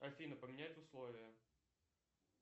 афина поменять условия